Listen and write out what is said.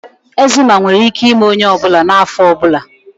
Eczema nwere ike ime onye ọ bụla n'afọ ọ bụla